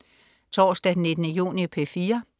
Torsdag den 19. juni - P4: